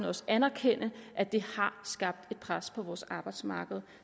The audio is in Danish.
også anerkende at det har skabt et pres på vores arbejdsmarked